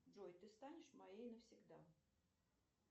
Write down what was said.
джой ты станешь моей навсегда